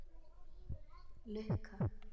Lukka